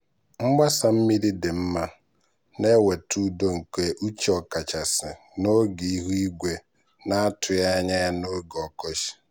mgbasa mmiri dị mma na-eweta udo nke uche ọkachasị n'oge ihu igwe na-atụghị anya ya na oge ọkọchị.